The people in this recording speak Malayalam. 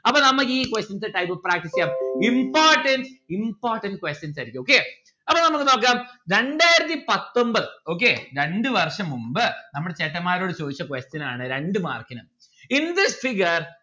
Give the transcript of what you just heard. അപ്പൊ നമ്മക്ക് ഈ questions important important questions ആയിരിക്കും okay അപ്പൊ നമ്മുക്ക് നോക്കാം രണ്ടായിരത്തി പത്തൊൻപത് okay രണ്ട്‌ വർഷം മുമ്പ് നമ്മൾ ചേട്ടമ്മാരോട് ചോദിച്ച question ആണ് രണ്ടു mark ന് in this figure